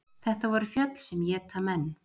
Þetta voru fjöll sem éta menn.